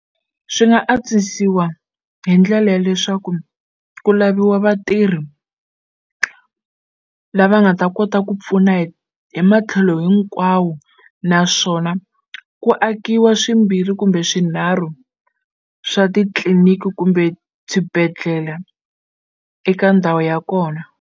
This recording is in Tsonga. Swi nga antswisiwa hi ndlela ya leswaku ku laviwa vatirhi lava nga ta kota ku pfuna hi hi matlhelo hinkwawu naswona ku akiwa swimbirhi kumbe swinharhu swa titliliniki kumbe swibedhlele eka ndhawu ya kona.